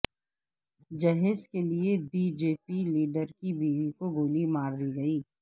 جہیز کیلئے B J P leader کی بیوی کو گولی ماردی گئی